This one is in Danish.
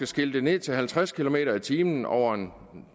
skiltet ned til halvtreds kilometer per time over en